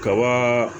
Kaba